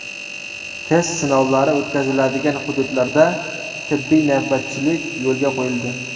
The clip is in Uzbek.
Test sinovlari o‘tkaziladigan hududlarda tibbiy navbatchilik yo‘lga qo‘yildi.